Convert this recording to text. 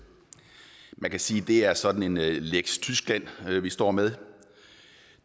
man kan sige at det er sådan en lex tyskland vi står med